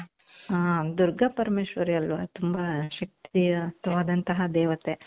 ಆ ದುರ್ಗಾ ಪರಮೇಶ್ವರಿ ಅಲ್ವಾ ತುಂಬಾ ಶಕ್ತಿಯ ವಾದಂತಹ ದೇವತೆ .